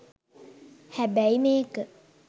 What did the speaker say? හැබැයි මේක